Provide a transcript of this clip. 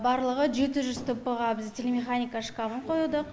барлығы жеті жүз тп ға біз телемеханика шкафын қойдық